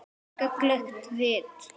Gagnleg rit